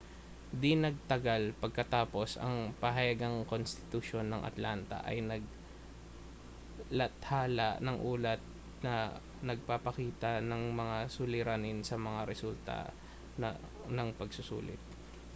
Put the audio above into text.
di-nagtagal pagkatapos ang pahayagan-konstitusyon ng atlanta ay naglathala ng ulat na nagpapakita ng mga suliranin sa mga resulta ng pagsusulit